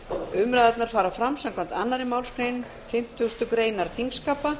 umræðurnar fara fram samkvæmt annarri málsgrein fimmtugustu grein þingskapa